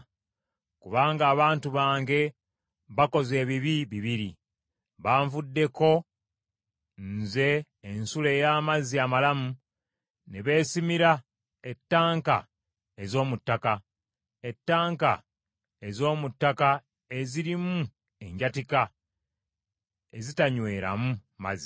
“Kubanga abantu bange bakoze ebibi bibiri, banvuddeko nze ensulo ey’amazzi amalamu ne beesimira ettanka ez’omu ttaka, ettanka ez’omu ttaka ezirimu enjatika ezitanyweeramu mazzi.”